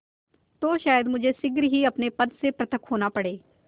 तो शायद मुझे शीघ्र ही अपने पद से पृथक होना पड़े